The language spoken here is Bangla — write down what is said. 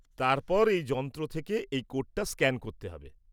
তারপর এই যন্ত্র থেকে এই কোডটা স্ক্যান করতে হবে।